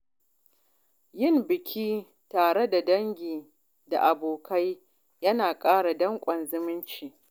Yin biki tare da dangi da abokai yana ƙara danƙon zumunci.